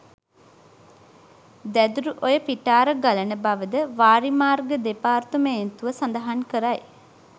දැදුරුඔය පිටාර ගලන බවද වාරිමාර්ග දෙපාර්තමේන්තුව සඳහන් කරයි